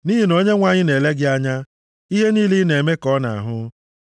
Nʼihi na Onyenwe anyị na-ele gị anya, ihe niile ị na-eme ka ọ na-ahụ.